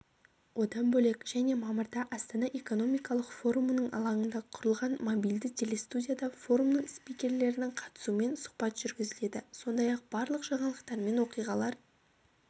одан бөлек және мамырда астана экономикалық форумының алаңында құрылған мобильді телестудияда форумның спикерлерінің қатысуымен сұхбат жүргізіледі сондай-ақ барлық жаңалықтар мен оқиғалар